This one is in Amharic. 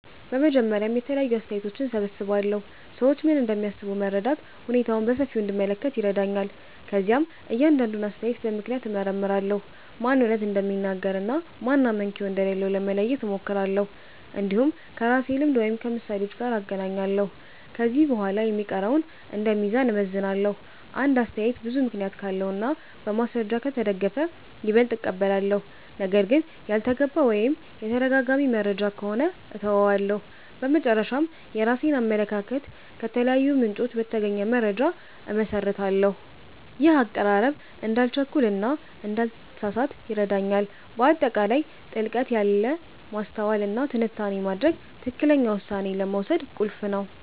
በመጀመሪያ የተለያዩ አስተያየቶችን እሰብስባለሁ። ሰዎች ምን እንደሚያስቡ መረዳት ሁኔታውን በሰፊው እንድመለከት ይረዳኛል። ከዚያም እያንዳንዱን አስተያየት በምክንያት እመርምራለሁ፤ ማን እውነት እንደሚናገር እና ማን አመክንዮ እንደሌለው ለመለየት እሞክራለሁ። እንዲሁም ከራሴ ልምድ ወይም ከምሳሌዎች ጋር እናገናኛለሁ። ከዚህ በኋላ የሚቀረውን እንደ ሚዛን እመዝናለሁ። አንድ አስተያየት ብዙ ምክንያት ካለው እና በማስረጃ ከተደገፈ ይበልጥ እቀበላለሁ። ነገር ግን ያልተገባ ወይም የተደጋጋሚ መረጃ ከሆነ እተወዋለሁ። በመጨረሻ፣ የራሴን አመለካከት ከተለያዩ ምንጮች በተገኘ መረጃ እመሰርታለሁ። ይህ አቀራረብ እንዳልቸኩል እና እንዳልተሳሳት ይረዳኛል። በአጠቃላይ ጥልቀት ያለ ማስተዋል እና ትንታኔ ማድረግ ትክክለኛ ውሳኔ ለመውሰድ ቁልፍ ነው